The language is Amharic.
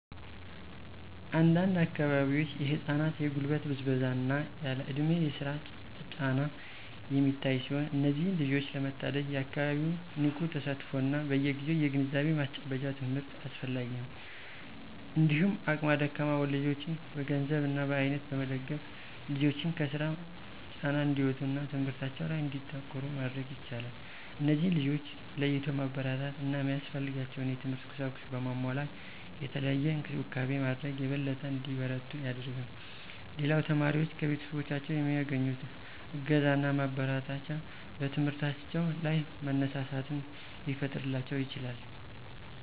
አንድ አንድ አካባቢዎች የህፃናት የጉልበት ብዝበዛ እና ያለእድሜ የስራ ጫና የሚታይ ሲሆን እነዚህን ልጆች ለመታደግ የአካባቢው ንቁ ተሳትፎ እና በየግዜው የግንዛቤ ማስጨበጫ ትምህርት አስፈላጊ ነው። እንዲሁም አቅመ ደካማ ወላጆችን በገንዘብ እና በአይነት በመደገፍ ልጆችን ከስራ ጫና እንዲወጡ እና ትምህርታቸው ላይ እንዲያተኩሩ ማድረግ ይቻላል። እነዚህን ልጆች ለይቶ ማበረታታት እና ሚያስፈልጋቸውን የትምህርት ቁሳቁስ በማሟላት የተለየ እንክብካቤ ማድረግ የበለጠ እንዲበረቱ ያደርጋል። ሌላው ተማሪዎች ከቤተሰቦቻቸው የሚያገኙት እገዛና ማበረታቻ በትምህርታቸው ላይ መነሳሳትን ሊፈጥርላቸው ይችላል።